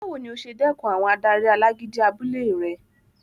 Báwo ni o ṣe dẹkùn àwọn adarí alágídí abúlé rẹ?